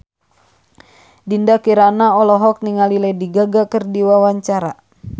Dinda Kirana olohok ningali Lady Gaga keur diwawancara